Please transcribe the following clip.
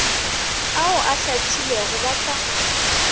ao a hlathilwego ba sa